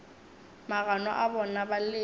magano a bona ba letše